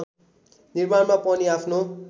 निर्माणमा पनि आफ्नो